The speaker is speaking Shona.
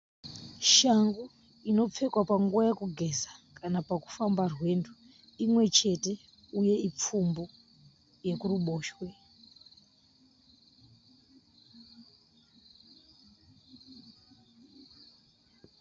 Shangu inopfekwa panguva yokugeza kana pakufamba rwendo imwechete uye ipfumbu yekuruboshwe.